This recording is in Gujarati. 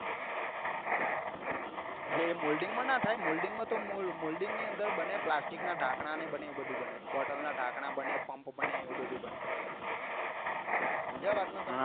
એટલે એ molding માં ના થાય molding મમા તો મોલ molding ની અંદર બને પ્લાસ્ટિક નાં ઢાંકના ને બને એવું બધું બને bottale નના ઢાંકણા બને પંપ બને એવું બધું બને સમજ્યા વાત ને તમે